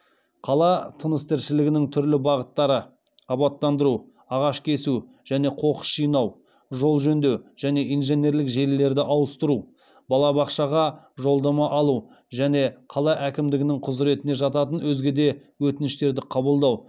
қала тыныс тіршілігінің түрлі бағыттары абаттандыру ағашкесу және қоқыс жинау жол жөндеу және инженерлік желілерді ауыстыру балабақшаға жолдама алу және қала әкімдігінің құзыретіне жататын өзге де өтініштерді қабылдау